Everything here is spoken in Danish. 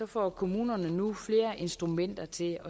får kommunerne nu flere instrumenter til